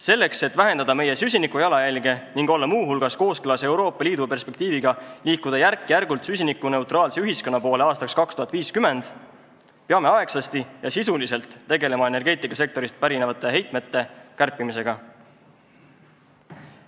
Selleks, et vähendada meie süsinikujalajälge ning olla muu hulgas kooskõlas Euroopa Liidu perspektiiviga liikuda aastaks 2050 järk-järgult süsinikuneutraalse ühiskonna poole, peame aegsasti ja sisuliselt tegelema energeetikasektorist pärinevate heitmete kärpimisega.